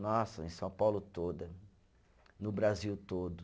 Nossa, em São Paulo toda, no Brasil todo.